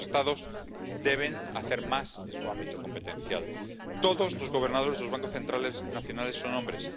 Los Estados deben hacer más en su ámbito competencial. Todos los gobernadores de los bancos centrales nacionales son hombres.